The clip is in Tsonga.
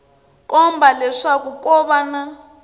komba leswaku ko va na